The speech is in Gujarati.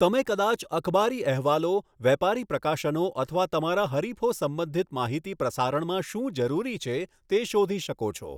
તમે કદાચ અખબારી અહેવાલો, વેપારી પ્રકાશનો અથવા તમારા હરીફો સંબંધિત માહિતી પ્રસારણમાં શું જરૂરી છે તે શોધી શકો છો.